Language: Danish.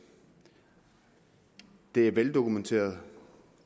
det er veldokumenteret af